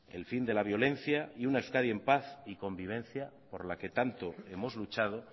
el fin de la violencia y una euskadi en paz y convivencia por la que tanto hemos luchado